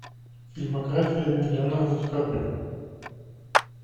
фильмография леонардо ди каприо